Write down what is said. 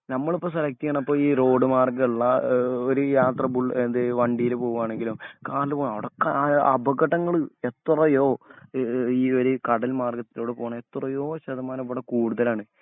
ഞമ്മളിപ്പം select ചെയ്യണിപ്പം road മാർഗമുള്ള ഒരുയാത്ര ബുള്ള ഏത് വണ്ടിയില് പൂവാണെങ്കിലും അവടൊക്കെ ആയ അപകടങ്ങള് എത്രയോ ഈ ഈയൊരു കടൽമാർഗ്ഗത്തിലൂടെ പോവാണെങ്കിൽ എത്രയോ ശതമാനം ഇവിടെ കൂടുതലാണ്.